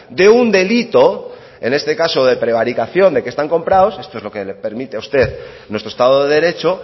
de un delito en este caso de prevaricación de que están comprados esto es lo que le permite a usted nuestro estado de derecho